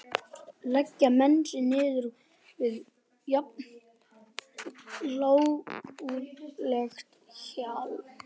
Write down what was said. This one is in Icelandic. Leggja menn sig niður við jafn lágkúrulegt hjal?